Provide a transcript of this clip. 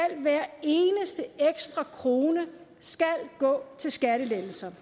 hver eneste ekstra krone gå til skattelettelser